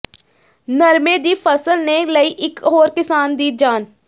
ਨਰਮੇ ਦੀ ਫਸਲ ਨੇ ਲਈ ਇਕ ਹੋਰ ਕਿਸਾਨ ਦੀ ਜਾਨ